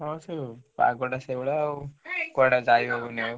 ହୁଁ ପାଗ ଟା ସେଇଭଳିଆ ଆଉ କୁଆଡେ ଯାଇହଉନି ଆଉ।